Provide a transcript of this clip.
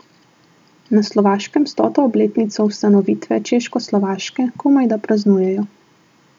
Na Slovaškem stoto obletnico ustanovitve Češkoslovaške komajda praznujejo.